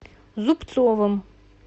зубцовым